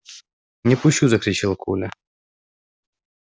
не пущу закричал коля